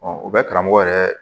u bɛ karamɔgɔ yɛrɛ